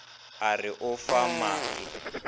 a re o fa maake